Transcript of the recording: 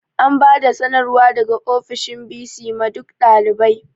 An bada sanarwar daga ofishin bc ma duk ɗalibai